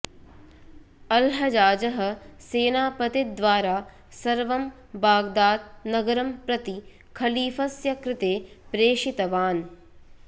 अल्हजाजः सेनापतिद्वारा सर्वं बाग्दाद् नगरं प्रति खलीफस्य कृते प्रेषितवान्